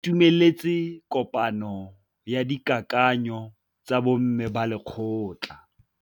Ba itumeletse kôpanyo ya dikakanyô tsa bo mme ba lekgotla.